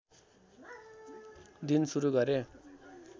दिन सुरु गरे